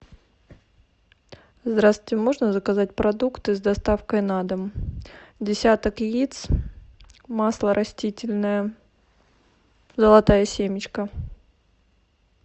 здравствуйте можно заказать продукты с доставкой на дом десяток яиц масло растительное золотая семечка